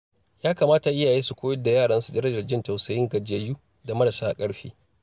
Ya kamata iyaye su koyar da yaransu darajar jin tausayin gajiyayyu da marasa ƙarfi.